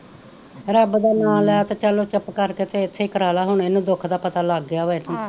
ਰੱਬ ਦਾ ਨਾਂ ਲੈ ਤੇ ਚੱਲ ਚੁੱਪ ਕਰਕੇ ਤੇ ਏਥੇ ਕਰਵਾਲੇ ਹੁਣ ਏਨੁ ਦੁਖ ਦਾ ਪਤਾ ਲੱਗ ਗਿਆ ਵਾਂ ਏਡੀ,